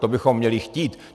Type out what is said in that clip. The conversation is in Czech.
To bychom měli chtít.